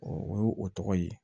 o ye o tɔgɔ ye